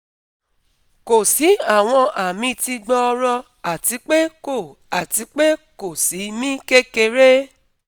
Kò sí àwọn ami ti gbọọrọ àti pé kò àti pé kò sí mí kékeré